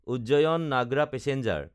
Ujjain Nagda passenger